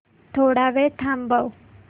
थोडा वेळ थांबव